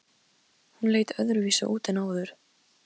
Hún leit öðruvísi út en áður.